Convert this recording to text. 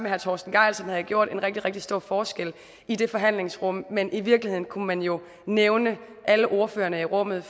herre torsten gejl som havde gjort en rigtig rigtig stor forskel i det forhandlingsrum men i virkeligheden kunne man jo nævne alle ordførerne i rummet